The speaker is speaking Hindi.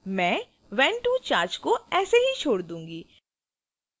मैं when to charge को ऐसे ही छोड़ दूंगी